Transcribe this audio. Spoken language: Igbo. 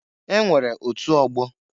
E nwere otu ọgbọ.